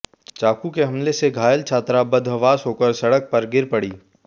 चाकू के हमले से घायल छात्रा बदहवास होकर सड़क पर गिर पड़ी